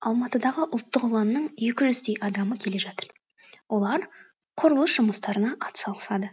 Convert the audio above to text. алматыдағы ұлттық ұланның екі жүздей адамы келе жатыр олар құрылыс жұмыстарына атсалысады